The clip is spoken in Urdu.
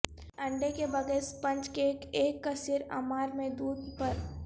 انڈے کے بغیر سپنج کیک ایک کثیر عمار میں دودھ پر